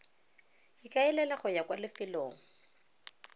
ikaelela go ya kwa lefelong